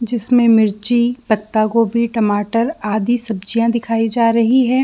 जिसमें मिर्ची पत्ता गोभी टमाटर आदि सब्जियां दिखाई जा रही है।